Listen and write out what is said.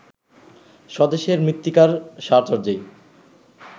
স্বদেশের মৃত্তিকার সাহচর্যেই